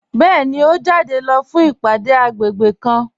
Bẹẹni, o jáde lọ fún ìpádé agbègbè kàn.